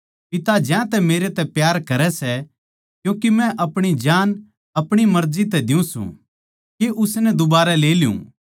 पिता ज्यांतै मेरै तै प्यार करै सै क्यूँके मै अपणी जान अपणी मर्जी तै दियूँ सूं के उसनै दुबारै ले लूँ